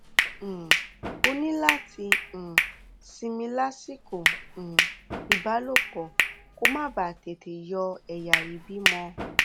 um o ní láti um sinmi lásìkò um ìbálòpọ kó o má bàa tètè yọ ẹyà ìbímọ